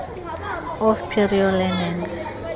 of prior learning